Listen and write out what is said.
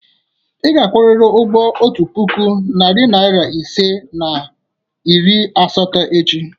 Ị ga-akwụrịrị otu puku, narị naịra ise na iri asatọ echi!